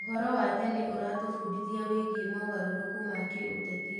ũhoro wa tene ũratũbundithia wĩgiĩ mogarũrũku ma kĩũteti.